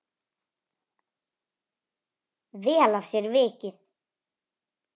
Vel af sér vikið.